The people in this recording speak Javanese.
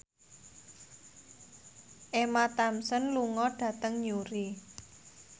Emma Thompson lunga dhateng Newry